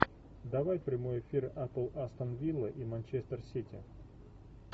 давай прямой эфир апл астон вилла и манчестер сити